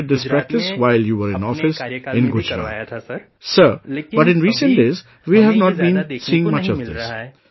You had started this practice while you were in office in Gujarat, Sir, but in the recent days we have not been seeing much of this